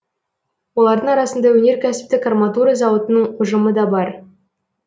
олардың арасында өнеркәсіптік арматура зауытының ұжымы да бар